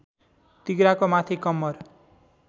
तिघ्राको माथि कम्मर